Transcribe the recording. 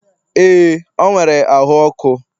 ee, o nwere ahu ọkụ